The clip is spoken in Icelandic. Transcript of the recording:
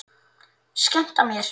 Skemmta mér?